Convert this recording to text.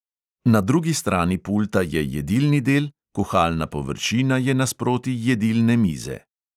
Na drugi strani pulta je jedilni del, kuhalna površina je nasproti jedilne mize.